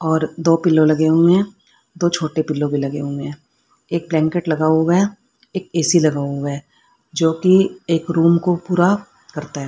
और दो पिलो लगे हुए हैं दो छोटे पिलो भी लगे हुए हैं एक ब्लैंकेट लगा हुआ है एक ए_सी लगा हुआ है जोकि एक रूम को पुरा करता है।